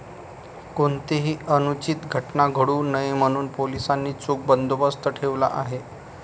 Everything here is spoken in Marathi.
कोणतीही अनुचित घटना घडू नये म्हणून पोलिसांनी चोख बंदोबस्त ठेवला आहे.